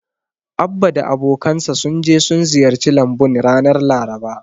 Abba da abokansa sun je sun ziyarci lambun ranar Laraba.